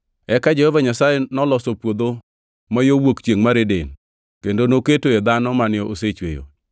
Eka Jehova Nyasaye noloso puodho ma yo wuok chiengʼ mar Eden, kendo noketoe dhano mane osechweyo.